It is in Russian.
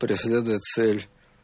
преследует цель